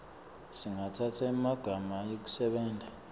singatsatsa emalanga ekusebenta